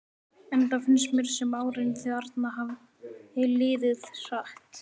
Enda finnst mér sem árin þau arna hafi liðið hratt.